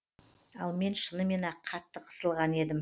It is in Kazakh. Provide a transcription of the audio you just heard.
ал мен шынымен ақ қатты қысылған едім